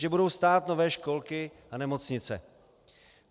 Že budou stát nové školky a nemocnice.